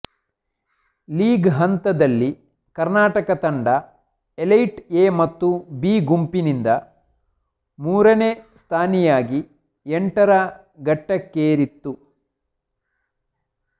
league ಹಂತದಲ್ಲಿ ಕರ್ನಾಟಕ ತಂಡ elite A ಮತ್ತು ಬಿ ಗುಂಪಿನಿಂದ ಮೂರನೇ ಸ್ಥಾನಿಯಾಗಿ ಎಂಟರ ಘಟ್ಟಕ್ಕೇರಿತ್ತು